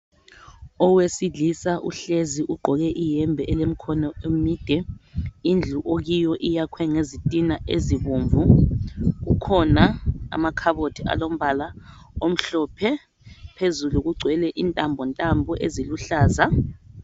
Owesilisa uhlezi iugqoke iyembe elemkhono emide. lndlu okiyo iyakhwe ngezitina ezibomvu. Kukhona amakhabothi alombala omhlophe. Phezulu kugcwele intambontambo eziluhlaza.